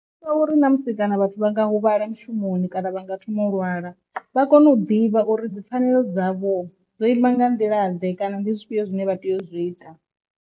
Ngauri na musi kana vhathu vha nga huvhala mushumoni kana vha nga thoma u lwala vha kone u ḓivha uri dzipfanelo dzavho dzo ima nga nḓila ḓe kana ndi zwifhio zwine vha tea u zwi ita.